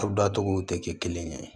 Furu dacogo tɛ kelen ye